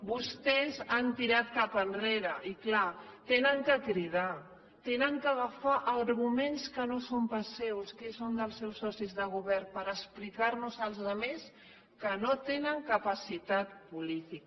vostès han tirat cap enrere i clar han de cridar han d’agafar arguments que no són pas seus que són dels seus socis de govern per explicarnos a la resta que no tenen capacitat política